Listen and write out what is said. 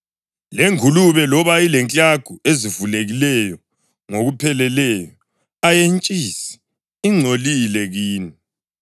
Lengulube, loba ilenklagu ezivulekileyo ngokupheleleyo, ayentshisi; ingcolile kini.